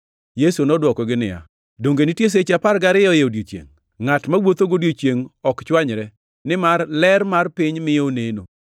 Yesu nodwokogi niya, “Donge nitie seche apar gariyo e odiechiengʼ? Ngʼat mawuotho godiechiengʼ ok chwanyre, nimar ler mar piny miyo oneno.